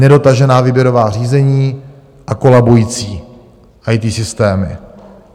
Nedotažená výběrová řízení a kolabující IT systémy.